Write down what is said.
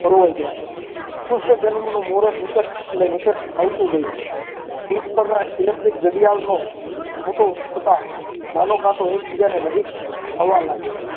પરોવાઈ ગઈ આ કૃષ્ણ જન્મનું મુરત નિકટ આવતું ગયું પીઠ પર પણ electric ઘડિયાળનો મોટો થતાં નાનો કાંટો એકબીજાને નજીક આવવા લાગ્યા.